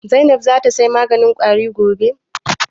Zainab za ta saya maganin Ƙwari gobe?